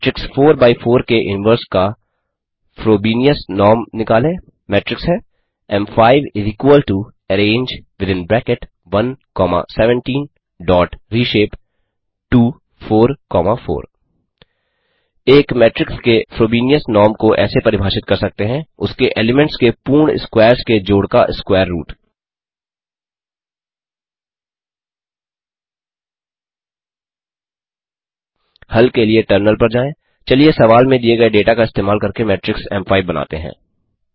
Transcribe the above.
matrix 4 by 4 के inverse का Frobenius norm निकालें मेट्रिक्स है M five arange within bracket 1 comma 17 dot reshape to 4 comma 4 एक मेट्रिक्स के फ्रोबेनियस नॉर्म को ऐसे परिभाषित कर सकते हैं उसके एलीमेंट्स के पूर्ण स्क्वैर्स के जोड़ का स्कवैर रूट हल के लिए टर्मिनल पर जाएँ चलिए सवाल में दिए गये डेटा का इस्तेमाल करके मेट्रिक्स एम5 बनाते हैं